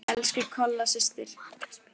Elsku Kolla systir.